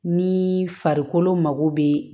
Ni farikolo mago bɛ